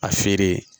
A feere